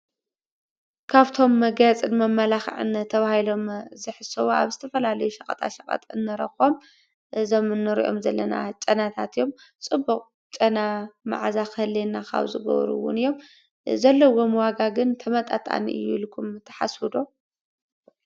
ካብቶም መጋየፅን መመላኽዕን ተባሂሎም ዝሕሰቡ ኣብ ዝተፈላለዩ ሸቀጣ ሸቀጥ እንረኽቦም እዞም እንሪኦም ዘለና ጨናታት እዮም፡፡ ፅቡቕ ጨና ማዓዛ ክህልዋና ካብ ዝገብሩ እውን እዮም፡፡ ዘለዎም ዋጋ ግን ተመጣጣኒ እዩ ኢልኩም ትሓስቡ ዶ?